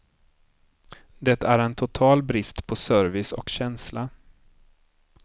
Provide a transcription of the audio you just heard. Det är en total brist på service och känsla.